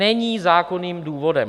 Není zákonným důvodem!